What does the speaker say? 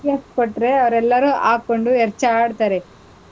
In case ಕೊಟ್ರೆ ಅವರೆಲ್ಲಾರು ಹಾಕ್ಕೊಂಡು ಎರ್ಚಾಡ್ತಾರೆ.